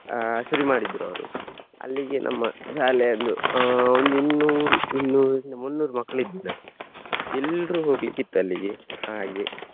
ಅಹ್ ಶುರು ಮಾಡಿದ್ರು ಅವರು. ಅಲ್ಲಿಗೆ ನಮ್ಮ ಶಾಲೆಯನ್ನು ಅಹ್ ಒಂದು ಇನ್ನೂರು ಇನ್ನೂರಿಂದ ಮುನ್ನೂರು ಮಕ್ಳಿದ್ವಿ ನಾವು. ಎಲ್ರೂ ಹೋಗ್ಲಿಕ್ಕಿತ್ತು ಅಲ್ಲಿಗೆ ಹಾಗೆ.